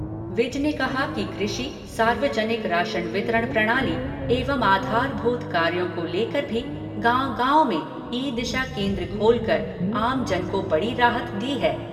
विज ने कहा कि कृषि, सार्वजनिक राशन वितरण प्रणाली एवं आधारभूत कार्यों को लेकर भी गाँव गाँव में ई दिशा केंद्र खोलकर आमजन को बड़ी राहत दी गई है।